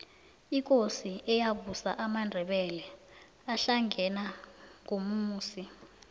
ikosi eyabusa amandebele ahlangena ngumusi